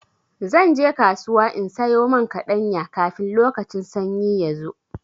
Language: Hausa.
Zan je kasuwa in sayo man kaɗanya, kafin lokacin sanyi ya zo.